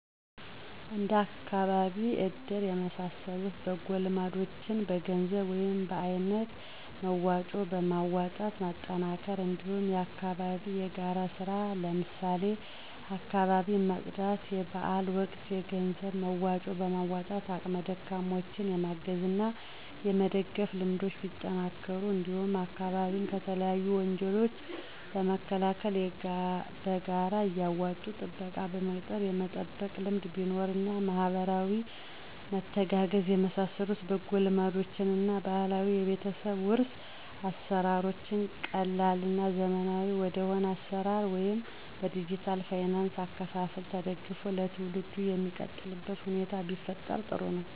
እንደ አካባቢ እድር የመሳሰሉ በጎ ልማዶችን በገንዘብ ወይም በአይነት መዋጮ በማዋጣት ማጠናከር እንዲሁም የአካባቢ የጋራ ስራ ለምሳሌ አካባቢን ማፅዳት; የበአል ወቅት የገንዘብ መዋጮ በማዋጣት አቅመ ደካማዎችን የማገዝ እና የመደገፍ ልምዶች ቢጠናከሩ እንዲሁም አካባቢን ከተለያዩ ወንጀሎች ለመከላከል በጋራ እያዋጡ ጥበቃ በመቅጠር የመጠበቅ ልምድ ቢኖር እና ማህበራዊ መተጋገዝ የመሳሰሉ በጎ ልማዶችን እና ባህላዊ የቤተሰብ ዉርስ አሰራሮች ቀላል እና ዘመናዊ ወደሆነ አሰራር ወይም በዲጅታል ፋይናንስ አከፋፈል ተደግፎ ለትውልዱ ሚቀጥልበት ሁኔታ ቢፈጠር ጥሩ ነው።